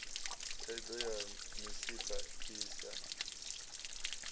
thaidzo ya misipha i sa